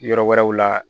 Yɔrɔ wɛrɛw la